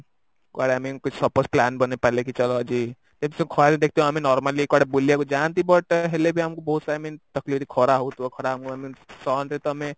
କୁଆଡେ ଆମେ କିଛି plan ବନେଇ ପାରିଲେ କି ଚାଲ ଆଜି ଆମେ normally କୁଆଡେ ବୁଲିବାକୁ ଯାନ୍ତି but ହେଲେ ବି ଆମକୁ ବହୁତ I mean ଖରା ହଉଥିବା ଖରା sun ରେ ତ ଆମେ